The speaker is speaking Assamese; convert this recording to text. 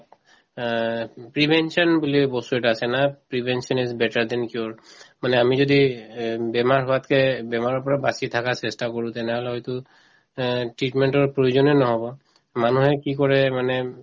অ, prevention বুলি বস্তু এটা আছে না prevention is better than cure মানে আমি যদি অ বেমাৰ হোৱাতকে বেমাৰৰ পৰা বাচি থাকাৰ চেষ্টা কৰো তেনেহলে হয়তো অ treatment ৰ প্ৰয়োজনে নহব মানুহে কি কৰে মানে উম